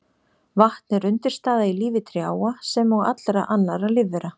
Vatn er undirstaða í lífi trjáa sem og allra annarra lífvera.